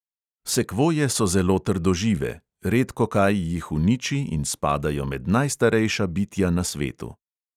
Sekvoje so zelo trdožive, redkokaj jih uniči in spadajo med najstarejša bitja na svetu.